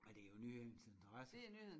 Men det er jo nyhedens interesse